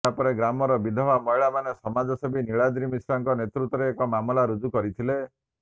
ଏହାପରେ ଗ୍ରାମର ବିଧବା ମହିଳାମାନେ ସମାଜସେବୀ ନୀଳାଦ୍ରି ମିଶ୍ରଙ୍କ ନେତୃତ୍ବରେ ଏକ ମାମଲା ରୁଜୁ କରିଥିଲେ